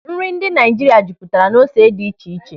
Nri ndị Naịjirịa jupụtara n'ose dị iche iche.